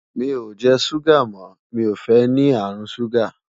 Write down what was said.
mí o jẹ ṣuga mọ, mí o fẹ ní àrùn ṣuga